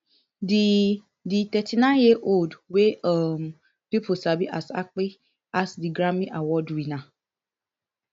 di di thirty-nineyearold wey um pipo sabi as akpi ask di grammy award winner